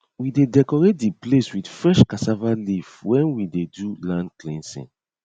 we dey decorate di place with fresh cassava leaf wen we dey do land cleansing